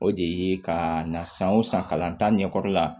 O de ye ka na san o san kalan ta ɲɛkɔrɔ la